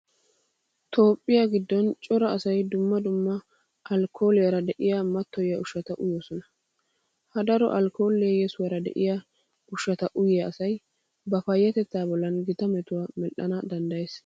Toophphiya giddon cora asay dumma dumma alkkooliyara de'iya mattoyiya ushshata uyoosona. Ha daro alkkooliya yesuwara de'iya ushshata uyiya asay ba payyatettaa bollan gita metuwa medhdhana danddayees.